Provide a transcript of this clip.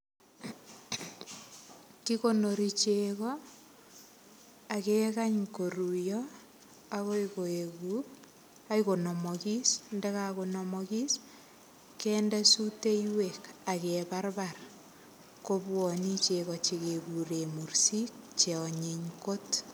Kikonori chego akekany koruiyo akoi konomokis ndakakonomokis kende soteiwek akeparpar kobuone chego chekekuren mursik cheonyiny kot.